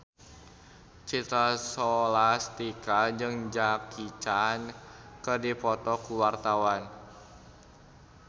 Citra Scholastika jeung Jackie Chan keur dipoto ku wartawan